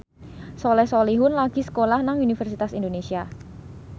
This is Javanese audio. Soleh Solihun lagi sekolah nang Universitas Indonesia